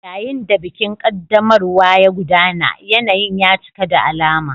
Yayin da bikin ƙaddamarwa ya gudana, yanayin ya cika da alama.